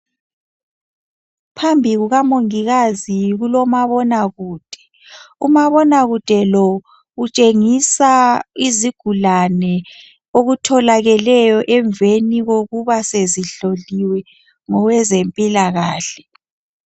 Phambi kukamongikazi kulomabona kude, umabonakude lo utshengisa izigulane okutholakeleyo emveni kokuba sezihloliwe ngowezempilakahle.